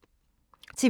TV 2